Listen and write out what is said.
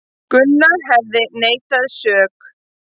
Gunnar hefði neitað sök